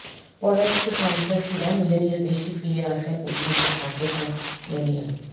পরাজিত সন্ত্রাসীরা নিজ নিজ দেশে ফিরে আসায় উদ্বিগ্ন আফ্রিকান ইউনিয়ন